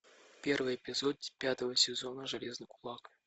первый эпизод пятого сезона железный кулак